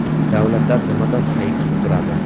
Davlatlar nimadan hayiqib turadi?